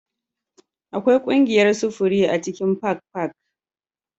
Akwai ƙungiyar sufuri a cikin Park Park